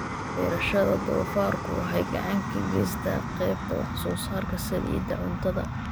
Beerashada doofaarku waxay gacan ka geysataa qaybta wax soo saarka saliidda cuntada.